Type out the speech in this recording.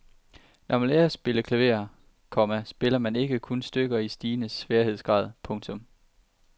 Når man lærer at spille klaver, komma spiller man ikke kun stykker i stigende sværhedsgrad. punktum